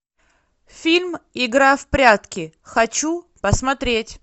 фильм игра в прятки хочу посмотреть